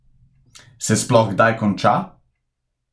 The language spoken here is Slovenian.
Se sploh kdaj konča?